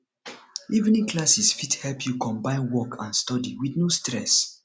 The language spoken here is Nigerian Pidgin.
evening classes fit help you combine work and study with no stress